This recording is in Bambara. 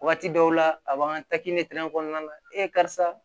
Waati dɔw la a b'an ka kɔnɔna na karisa